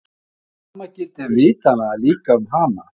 Það sama gildir vitanlega líka um hana!